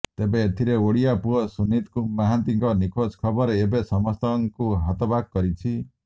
ତେବେ ଏଥିରେ ଓଡିଆ ପୁଅ ସୁନିତ ମହାନ୍ତିଙ୍କ ନିଖୋଜ ଖବର ଏବେ ସମସ୍ତଙ୍କୁ ହତବାକ୍ କରିଛି